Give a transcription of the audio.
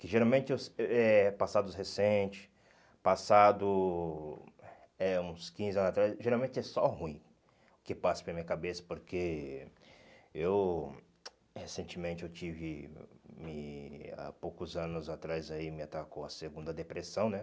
Que geralmente eu é é passados recente, passado uns eh quinze anos atrás, geralmente é só ruim que passa pela minha cabeça, porque eu, recentemente eu tive, e há poucos anos atrás aí me atacou a segunda depressão, né?